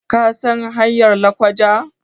kasan hanyar lakwaja?